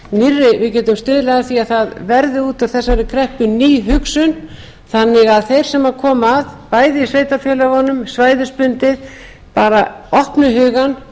við gætum stuðlað að því að það verði út úr þessari kreppu ný hugsun þannig að þeir sem koma að bæði í sveitarfélögunum svæðisbundið bara opna hugann